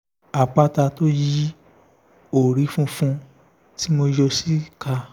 àpáta tó yí orí funfun tí mo yọ̀ sí i ká